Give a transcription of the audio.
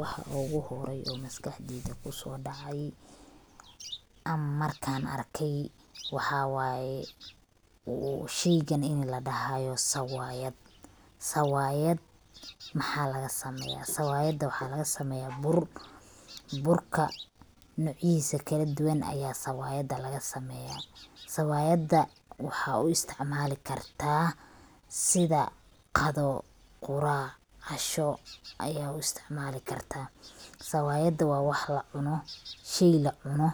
Wax uguhorey oo maskaxdeyda kusoodacay marka aan arkay waxaa waay sheygan in ladahaayo sawaayad. Sawaayad maxaa lagasameeyaa? Sawaayada waxaa lagasameeyaa bur. Burka nocyadiisa kaladuwan ayaa sawaayada lagasameeyaa. Sawaayada waxaa u istacmaali kartaa sida qado, qurac, casho ayaa u istacmaalikartaa. Sawaayada waa wax lacuno, shay lacuno